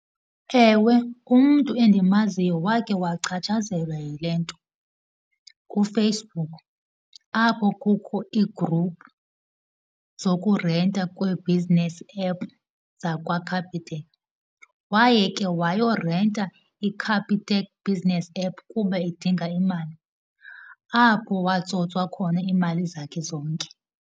Ewe, umntu endimaziyo wake wachatshazelwa yile nto kuFacebook, apho kukho ii-group zokurenta kwee-business app zakwaCapitec. Waye ke wayorenta iCapitec business app kuba edinga imali, apho watsotswa khona iimali zakhe zonke.